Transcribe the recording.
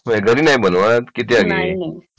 घरी नाही बनवत किती आली